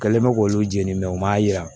Kɛlen bɛ k'olu jeni u m'a jira